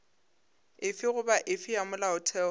efe goba efe ya molaotheo